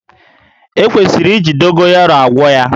E kwesịrị iji Dogoyaro agwọ ya